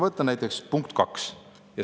Võtan näiteks punkti 2.